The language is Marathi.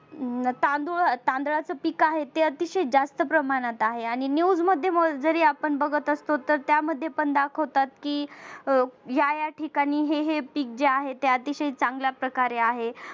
तांदूळ तांदळाच पीक आहे ते अतिशय जास्त प्रमाणात आहे आणि news मध्ये जरी आपण बघत असलो तरी त्यामध्ये पण दाखवतात की या या ठिकाणी हे हे पीक आहे त्या अतिशय चांगल्या प्रकारे आहे.